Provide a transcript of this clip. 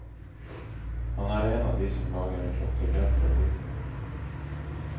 Han er en av de som lager en klokke helt fra bunnen av.